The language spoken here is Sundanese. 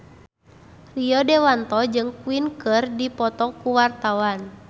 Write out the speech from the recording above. Rio Dewanto jeung Queen keur dipoto ku wartawan